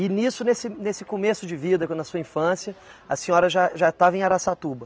E nisso, nesse nesse começo de vida, na sua infância, a senhora já já estava em Araçatuba.